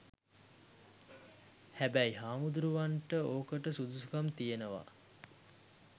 හැබැයි හාමුදුරුවරුන්ට ඕකට සුදුසුකම් තියනව